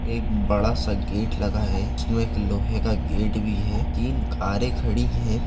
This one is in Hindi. एक बड़ा-सा गेट लगा है उसमे एक लोहे का गेट भी है। तीन कारे खड़ी हैं।